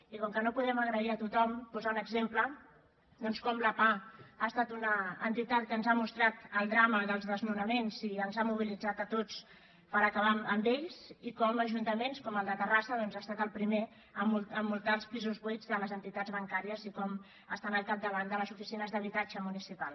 i com que no podem agrair a tothom posar un exemple doncs com la pah ha estat una entitat que ens ha mostrat el drama dels desnonaments i ens ha mobilitzat a tots per acabar amb ells i com ajuntaments com el de terrassa doncs ha estat el primer a multar els pisos buits de les entitats bancàries i com estan al capdavant de les oficines d’habitatge municipal